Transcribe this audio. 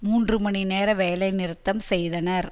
மூன்று மணி நேர வேலை நிறுத்தம் செய்தனர்